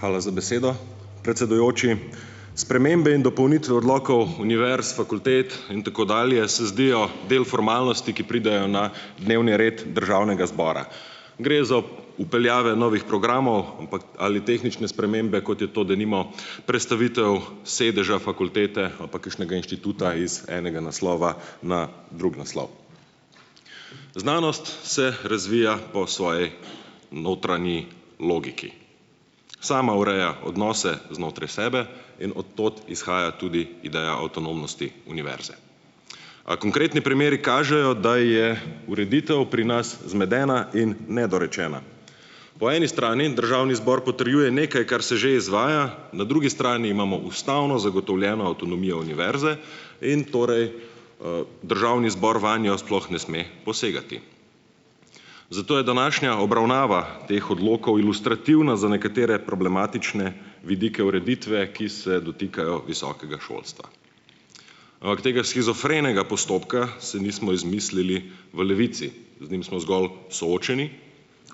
Hvala za besedo, predsedujoči. Spremembe in dopolnitve odlokov univerz, fakultet in tako dalje se zdijo del formalnosti, ki pridejo na dnevni red državnega zbora. Gre za vpeljave novih programov ali tehnične spremembe, kot je, denimo, prestavitev sedeža fakultete ali pa kakšnega inštituta iz enega naslova na drug naslov. Znanost se razvija po svoji notranji logiki, sama ureja odnose znotraj sebe in od tod izhaja tudi ideja avtonomnosti univerze. A konkretni primeri kažejo, da je ureditev pri nas zmedena in nedorečena. Po eni strani državni zbor potrjuje nekaj, kar se že izvaja, na drugi strani imamo ustavno zagotovljeno avtonomijo univerze in torej, državni zbor vanjo sploh ne sme posegati. Zato je današnja obravnava teh odlokov ilustrativna za nekatere problematične vidike ureditve, ki se dotikajo visokega šolstva. Ampak tega shizofrenega postopka si nismo izmislili v Levici, z njim smo zgolj soočeni,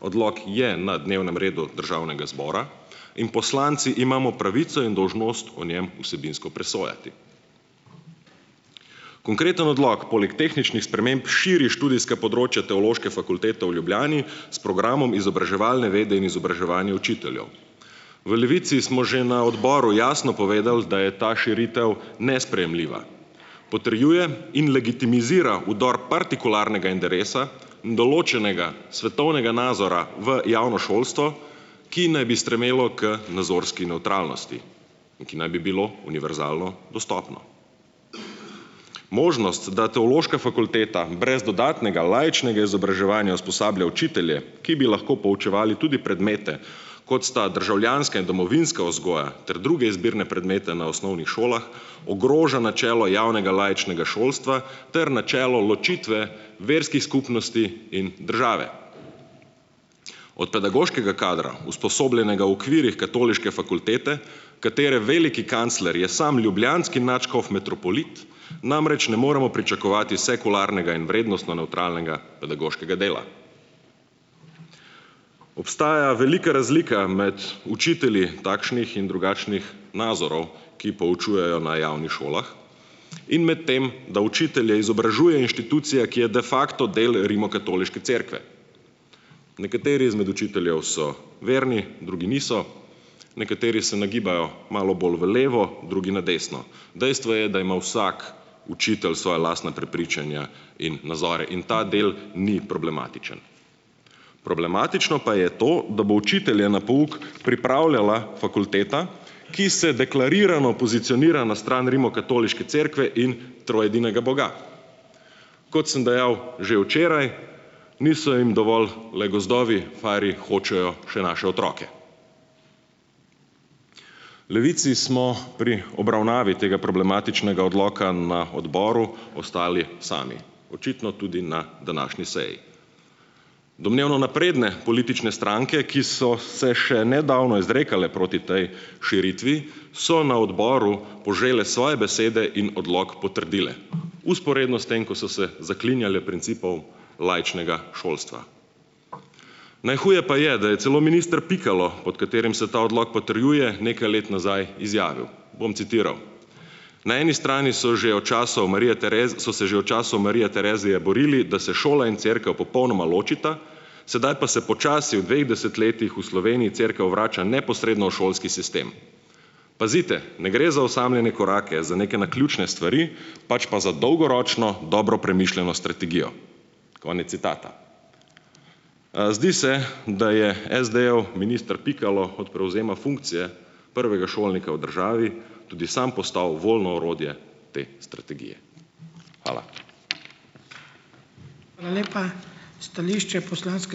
odlok je na dnevnem redu državnega zbora in poslanci imamo pravico in dolžnost o njem vsebinsko presojati. Konkreten odlog poleg tehničnih sprememb širi študijske področja Teološke fakultete v Ljubljani s programom Izobraževalne vede in izobraževanje učiteljev. V Levici smo že na odboru jasno povedali, da je ta širitev nesprejemljiva, potrjuje in legitimizira vdor partikularnega interesa in določenega svetovnega nazora v javno šolstvo, ki naj bi stremelo k nazorski nevtralnosti in ki naj bi bilo univerzalno dostopno. Možnost, da Teološka fakulteta brez dodatnega laičnega izobraževanja usposablja učitelje, ki bi lahko poučevali tudi predmete, kot sta državljanska in domovinska vzgoja ter druge izbirne predmete na šolah, ogroža načelo javnega laičnega šolstva ter načelo ločitve verskih skupnosti in države. Od pedagoškega kadra, usposobljenega v okvirih katoliške fakultete, katere veliki kancler je sam ljubljanski nadškof metropolit, namreč ne moremo pričakovati sekularnega in vrednostno nevtralnega pedagoškega dela. Obstaja velika razlika med učitelji takšnih in drugačnih nazorov, ki poučujejo na javnih šolah, in med tem, da učitelje izobražuje inštitucija, ki je da facto del Rimskokatoliške cerkve. Nekateri izmed učiteljev so verni, drugi niso, nekateri se nagibajo malo bolj v levo, drugi na desno. Dejstvo je, da ima vsak učitelj svoja lastna prepričanja in nazore, in ta del ni problematičen. Problematično pa je to, da bo učitelje na pouk pripravljala fakulteta, ki se deklarirano pozicionira na stran Rimokatoliške cerkve in troedinega boga. Kot sem dejal že včeraj, niso jim dovolj le gozdovi, farji hočejo še naše otroke. Levici smo pri obravnavi tega problematičnega odloka na odboru ostali sami, očitno tudi na današnji seji. Domnevno napredne politične stranke, ki so se še nedavno izrekale proti tej širitvi, so na odboru požele svoje besede in odlok potrdile vzporedno s tem, ko so se zaklinjale principov laičnega šolstva. Najhuje pa je, da je celo minister Pikalo, pod katerim se ta odlok potrjuje, nekaj let nazaj izjavil, bom citiral: "Na eni strani so že od časov Marija se že od časov Marija Terezije borili, da se šola in cerkev popolnoma ločita, sedaj pa se počasi v dveh desetletjih v Sloveniji cerkev vrača neposredno v šolski sistem. Pazite, ne gre za osamljene korake, za neke naključne stvari, pač pa za dolgoročno dobro premišljeno strategijo." Konec citata. Zdi se, da je SD-jev minister Pikalo od prevzema funkcije prvega šolnika v državi tudi sam postal voljno orodje te strategije. Hvala.